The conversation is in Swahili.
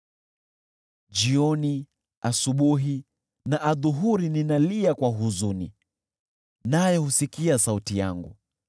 Jioni, asubuhi na adhuhuri ninalia kwa huzuni, naye husikia sauti yangu.